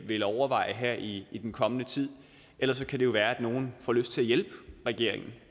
vil overveje her i i den kommende tid ellers kan det jo være at nogle får lyst til at hjælpe regeringen